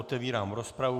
Otevírám rozpravu.